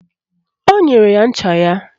O nyere ya ncha ya